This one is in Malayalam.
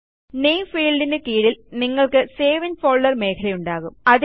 നാമെ ഫീൽഡിന് കീഴിൽ നിങ്ങൾക്ക് സേവ് ഇൻ ഫോൾഡർ മേഖലയുണ്ടാകും